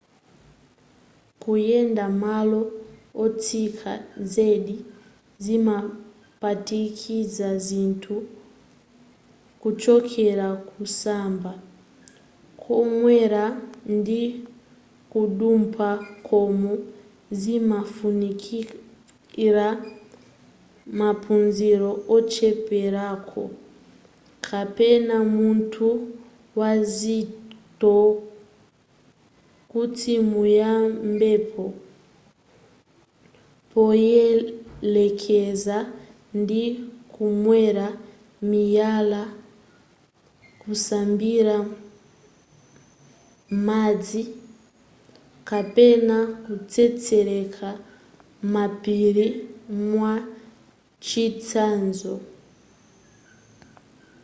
kuyenda malo otsika zedi zimaphatikiza zinthu kuchokera kusamba kukwera ndi kudumpha-- koma zimafunikira maphunziro ocheperako kapena munthu wazitho kuti muyambepo poyelekeza ndi kukwera miyala kusambira m'madzi kapena kutsetseleka m'mapiri mwachitsanzo